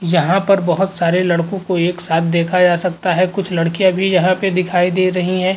यहाँ पर बहोत सारे लड़कों को एक साथ देखा जा सकता है। कुछ लड़कियाँ भी यहाँ पे दिखाई दे रहीं हैं।